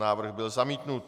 Návrh byl zamítnut.